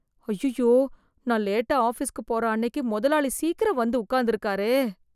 அய்யய்யோ நான் லேட்டா ஆஃபீஸ்க்கு போற அன்னைக்கு முதலாளி சீக்கிரம் வந்து உட்கார்ந்து இருக்காரே